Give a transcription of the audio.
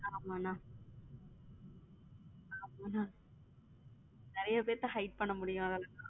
ஆமா அண்ண ஆமா அண்ணா நறிய பேத்தை hide பண்ண முடியும்லனா